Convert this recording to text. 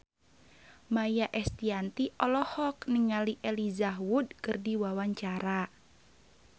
Maia Estianty olohok ningali Elijah Wood keur diwawancara